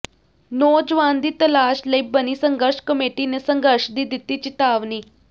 ਨੌਜਵਾਨ ਦੀ ਤਲਾਸ਼ ਲਈ ਬਣੀ ਸੰਘਰਸ਼ ਕਮੇਟੀ ਨੇ ਸੰਘਰਸ਼ ਦੀ ਦਿੱਤੀ ਚਿਤਾਵਨੀ